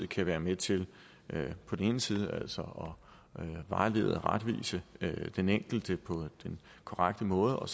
kan være med til på den ene side altså at vejlede og retvise den enkelte på den korrekte måde og